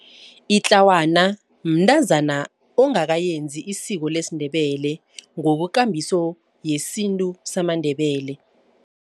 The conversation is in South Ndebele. Itlawana mntazana ongakenzi isiko lesiNdebele ngokwekambiso yesintu samaNdebele.